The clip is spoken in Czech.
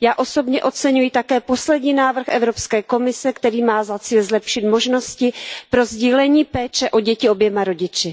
Já osobně oceňuji také poslední návrh Evropské komise, který má za cíl zlepšit možnosti pro sdílení péče o děti oběma rodiči.